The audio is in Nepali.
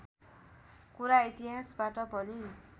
कुरा इतिहासबाट पनि